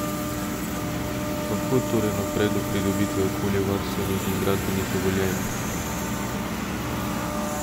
Kako torej naprej do pridobitve okoljevarstvenih in gradbenih dovoljenj?